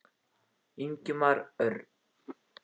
Ingimar Örn.